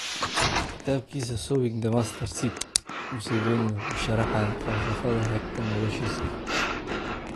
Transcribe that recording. Kitabkiisa "Sowing the Mustard Seed," Museveni wuxuu sharxayaa falsafadda hagta noloshiisa.